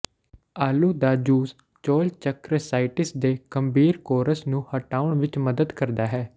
ਆਲੂ ਦਾ ਜੂਸ ਚੌਲਚੱਕਰਸਾਈਟਿਸ ਦੇ ਗੰਭੀਰ ਕੋਰਸ ਨੂੰ ਹਟਾਉਣ ਵਿੱਚ ਮਦਦ ਕਰਦਾ ਹੈ